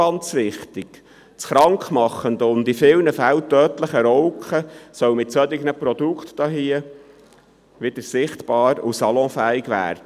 Das krankmachende und in vielen Fällen tötende Rauchen soll mit solchen Produkten wieder sichtbar und salonfähig werden.